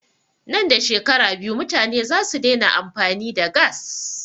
Nan da shekara biyu mutane zasu daina amfani da gass